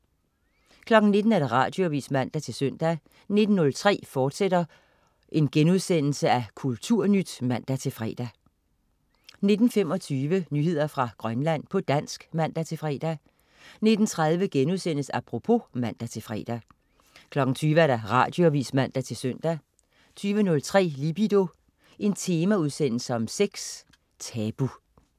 19.00 Radioavis (man-søn) 19.03 Kulturnyt, fortsat* (man-fre) 19.25 Nyheder fra Grønland, på dansk (man-fre) 19.30 Apropos* (man-fre) 20.00 Radioavis (man-søn) 20.03 Libido. Temaudsendelse om sex. Tabu